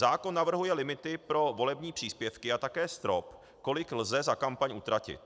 Zákon navrhuje limity pro volební příspěvky a také strop, kolik lze za kampaň utratit.